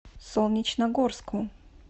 солнечногорску